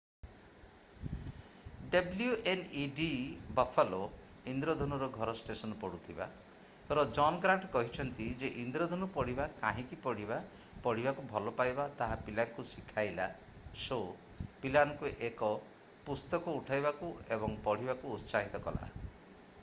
wned Buffalo ଇନ୍ଦ୍ରଧନୁର ଘର station ପଢୁଥିବା ର ଜନ୍ ଗ୍ରାଣ୍ଟ କହିଛନ୍ତି ଯେ ଇନ୍ଦ୍ରଧନୁ ପଢିବା କାହିଁକି ପଢିବା ... ପଢିବାକୁ ଭଲପାଇବା - ତାହା ପିଲାଙ୍କୁ ଶିଖାଇଲା - [ଶୋ] ପିଲାମାନଙ୍କୁ ଏକ ପୁସ୍ତକ ଉଠାଇବାକୁ ଏବଂ ପଢିବାକୁ ଉତ୍ସାହିତ କଲା ।